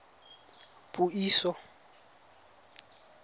puiso